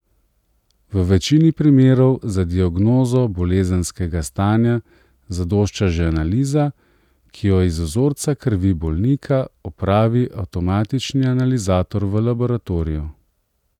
V večini primerov za diagnozo bolezenskega stanja zadošča že analiza, ki jo iz vzorca krvi bolnika opravi avtomatični analizator v laboratoriju.